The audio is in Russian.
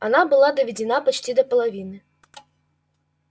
она была доведена почти до половины